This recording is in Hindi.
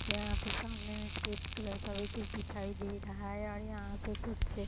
और यहाँ पे सामने में एक रेड कलर का भी कुछ दिखाई दे रहा है और यहाँ पे कुछ --